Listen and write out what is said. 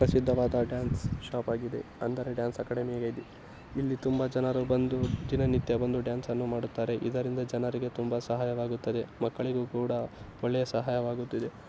ಪ್ರಸಿದವಾದ dance stop ಆಗಿದೆ ಅಂದ್ರೆ dance ಆಕಡೆ ಇಲ್ಲಿ ತುಂಬಾ ಜನರೂ ಒಂದು ದಿನ ನಿತ್ಯ ಒಂದು ಡ್ಯಾನ್ಸ್ ಮಾಡುತ್ತಾರೆ ಇದರಿಂದ ಜನರಿಗೆ ತುಂಬಾ ಸಹಾಯ ಆಗುತ್ತದೆ ಮಕ್ಕಳಿಗೆ ಕೂಡ ಒಳ್ಳೆಯ ಸಹಾಯವಾಗುತ್ತದೆ.